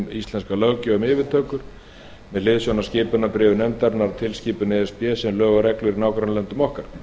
íslenska löggjöf um yfirtökur með hliðsjón af skipunarbréfi nefndarinnar og tilskipun e s b sem og lög og reglur í nágrannalöndum okkar